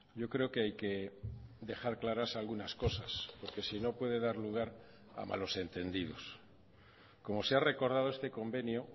yo creo que hay que dejar claras algunas cosas porque si no puede dar lugar a malos entendidos como se ha recordado este convenio